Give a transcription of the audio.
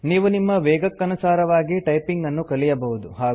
ನೀವು ನಿಮ್ಮ ವೇಗಕ್ಕನುಸಾರವಾಗಿ ಟೈಪಿಂಗ್ ಅನ್ನು ಕಲಿಯಬಹುದು